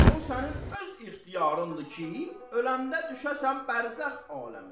O sənin öz ixtiyarındadır ki, öləndə düşəsən bərzəx aləminə.